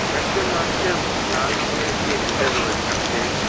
একজন মানুষের লাল রঙের হেলমেট রয়েছে হাতে।